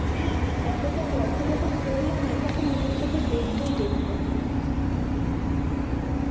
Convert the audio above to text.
হ্যাঁ এতটা গল্প যখন পড়লাম তখন তো নিজের চোখে একবার দেখবোই দেখবো